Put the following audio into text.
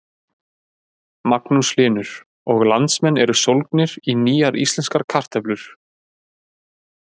Magnús Hlynur: Og landsmenn eru sólgnir í nýjar íslenskar kartöflur?